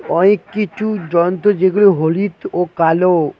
অয়েক কিছু যন্ত যেগুলো হলিদ ও কালো।